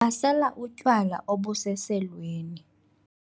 basela utywala obuseselweni